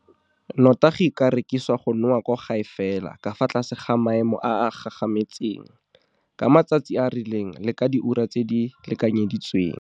Nnotagi e ka rekiswa go nowa kwa gae fela ka fa tlase ga maemo a a gagametseng, ka matsatsi a a rileng le ka diura tse di lekanyeditsweng.